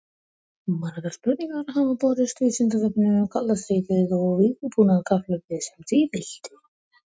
Margar spurningar hafa borist Vísindavefnum um kalda stríðið og vígbúnaðarkapphlaupið sem því fylgdi.